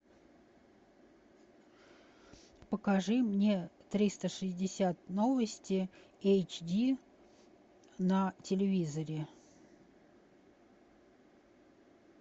покажи мне триста шестьдесят новости эйч ди на телевизоре